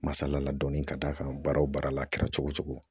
Masala la dɔɔnin ka d'a kan baara o baara la a kɛra cogo o cogo